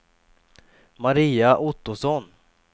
Maria Ottosson